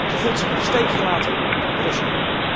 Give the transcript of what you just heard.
Zij voelt zich in de steek gelaten door Brussel.